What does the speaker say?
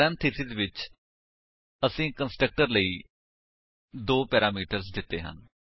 parenthesis ਵਿੱਚ ਅਸੀਂ constructor ਲਈ ਦੋ ਪੈਰਾਮੀਟਰਸ ਦਿੱਤੇ ਹਨ